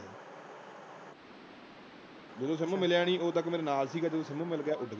ਜਦੋਂ ਸਿਮ ਮਿਲਿਆ ਨਹੀ ਉਦੋਂ ਤੱਕ ਮੇਰੇ ਨਾਲ ਸੀ ਗਾ। ਜਦੋਂ ਸਿਮ ਮਿਲ ਗਿਆ ਉੱਡ ਗਿਆ.